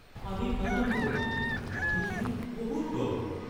পানীত নানামিব। পানীখিনি বহুত দ!